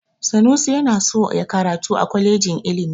Sanusi yana so ya karatu a kwalejin ilimi.